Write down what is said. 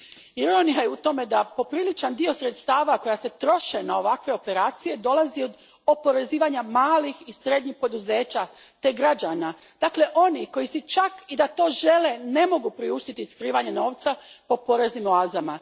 Ironija je u tome da popriličan dio sredstava koja se troše na ovakve operacije dolazi od oporezivanja malih i srednjih poduzeća te građana, dakle onih koji si, čak i da to žele, ne mogu priuštiti skrivanje novca po poreznim oazama.